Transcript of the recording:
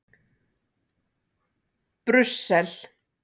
Brussel